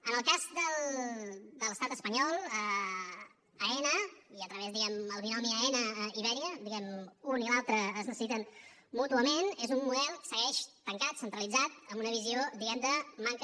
en el cas de l’estat espanyol aena i a través del binomi aena iberia diguem ne un i l’altre es necessiten mútuament és un model que segueix tancat centralitzat amb una visió de manca